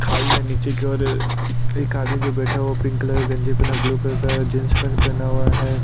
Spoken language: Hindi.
खाई है नीचे की और एक आदमी जो बैठा हुआ है पिंक कलर का गंजी पहने और ब्लू कलर का जींस पेंट पहना हुआ है।